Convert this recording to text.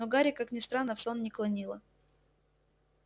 но гарри как ни странно в сон не клонило